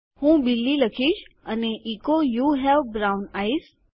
હું બિલી લખીશ અને એચો યુ હવે બ્રાઉન આઇઝ